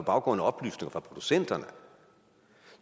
baggrund af oplysninger fra producenterne